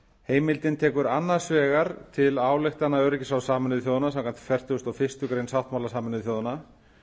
heimildin tekur annars vegar til ályktana öryggisráðs sameinuðu þjóðanna samkvæmt fertugustu og fyrstu grein sáttmála sameinuðu þjóðanna